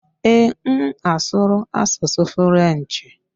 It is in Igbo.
Ee, m asụru asụsụ Frenchị.